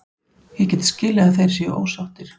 Ég get skilið að þeir séu ósáttir.